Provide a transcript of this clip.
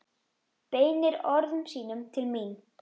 Beinir orðum sínum til mín.